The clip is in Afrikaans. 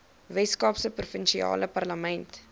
weskaapse provinsiale parlement